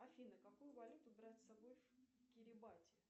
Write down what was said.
афина какую валюту брать с собой в кирибати